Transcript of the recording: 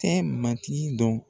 Tɛ matigi dɔn